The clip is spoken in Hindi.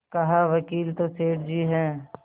कहावकील तो सेठ जी हैं